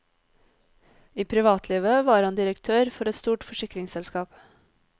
I privatlivet var han direktør for et stort forsikringsselskap.